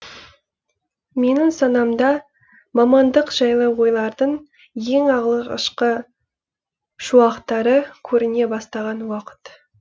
менің санамда мамандық жайлы ойлардың ең алғашқы шуақтары көріне бастаған уақыт